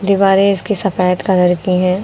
दीवारें इसकी सफेद कलर की हैं।